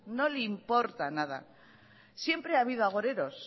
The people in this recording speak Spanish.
no le importa nada siempre ha habido agoreros